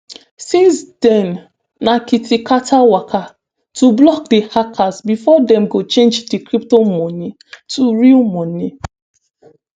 since den na kiti kata waka to block di hackers bifor dem go change di crypto money to real money